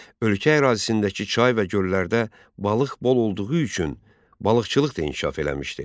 Ölkə ərazisindəki çay və göllərdə balıq bol olduğu üçün, balıqçılıq da inkişaf eləmişdi.